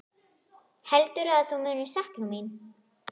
Heldurðu að þú munir sakna mín?